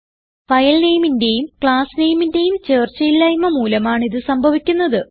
file nameന്റേയും class nameന്റേയും ചേർച്ചയില്ലായ്മ മൂലമാണ് ഇത് സംഭവിക്കുന്നത്